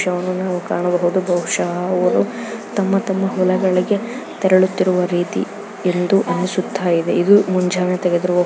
ಕಾಣಬಹುದು ಬಹುಷಃ ಅವರು ತಮ್ಮ ತಮ್ಮ ಹೊಲಗಳಿಗೆ ತೆರಳುತ್ತಿರುವ ರೀತಿ ಎಂದು ಅನಿಸುತ್ತ ಇದೆ ಇದು ಮುಂಜಾನೆ ತೆಗೆದಿರುವ --